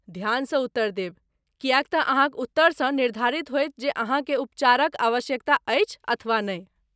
ध्यानसँ उत्तर देब, किएक तँ अहाँक उत्तरसँ निर्धारित होयत जे अहाँकेँ उपचारक आवश्यकता अछि अथवा नहि।